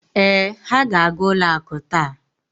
Ee, ha ga-aga ụlo akụ taa.